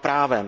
právem.